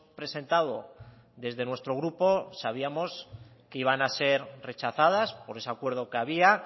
presentado desde nuestro grupo sabíamos que iban a ser rechazadas por ese acuerdo que había